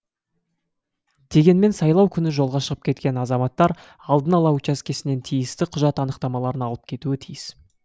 дегенмен сайлау күні жолға шығып кеткен азаматтар алдын ала учаскесінен тиісті құжат анықтамаларын алып кетуі тиіс